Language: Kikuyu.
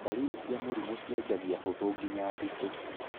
Ndariri cia mũrimũ ciajangia hũthũ ginya nditũ.